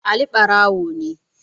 Ali barawo ne